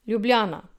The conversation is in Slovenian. Ljubljana.